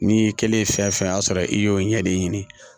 N'i kɛlen ye fɛn fɛn y'a sɔrɔ i y'o ɲɛ de ɲini